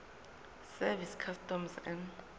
service customs and